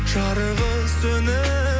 жарығы сөніп